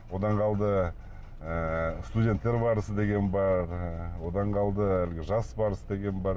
одан қалды ыыы студенттер барысы деген бар одан қалды әлгі жас барыс деген бар